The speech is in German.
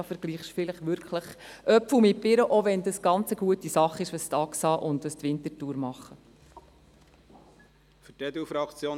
Da vergleichen Sie vielleicht wirklich Äpfel mit Birnen, auch wenn es eine ganz gute Sache ist, was die Axa Winterthur macht.